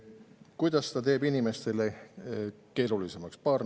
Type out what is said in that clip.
Kuidas ta teeb inimeste elu keerulisemaks?